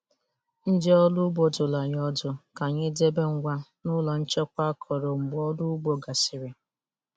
Ndị ọrụ ugbo dụrụ anyị ọdụ ka anyị debe ngwa n'ụlọ nchekwa akọrọ mgbe ọrụ ugbo gasịrị.